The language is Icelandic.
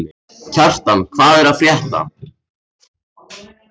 Kjartan, hvað er að frétta?